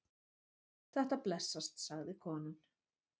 Þetta blessast, sagði konan.